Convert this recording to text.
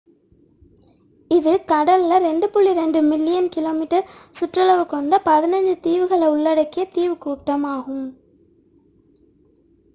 இது கடலில் 2.2 million km2 சுற்றளவு கொண்ட 15 தீவுகள் உள்ளடங்கிய தீவுக்கூட்டம் ஆகும்